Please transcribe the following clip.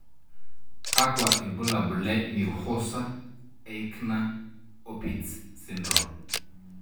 Kakwa ibulabul le Neuhauser Eichner Opitz syndrome?